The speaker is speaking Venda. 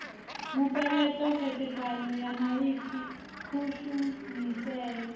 mupeleṱo khethekanyo ya maipfi kushumisele